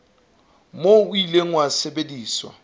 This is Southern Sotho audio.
moo o ile wa sebediswa